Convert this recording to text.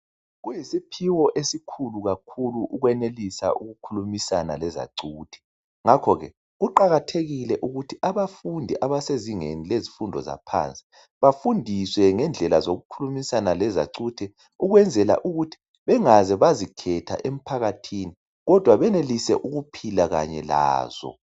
Kuyisiphiwo esikhulu kakhulu ukwenelisa ukukhulumisana lezacuthe, ngakho ke kuqakathekile ukuthi abafundi abasezingeni lezifundo zaphansi bafundiswe ngendlela zokukhulumisa lezacuthe. Ukwenzela ukuthi bengaze bazikhetha emphakathini kodwa benelise ukuphila lazo.